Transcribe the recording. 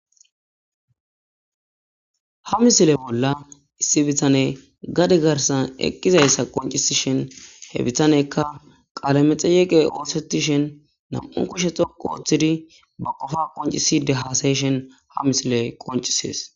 Ha misile bolla issi bitane gade garsan eqqizayssa qoncisi shin he bitanekka qaalamexeyeqe oosetishen nam7un kushe xoqo ooththidi ba qofa qonciside hasayishen ha misile qoncisees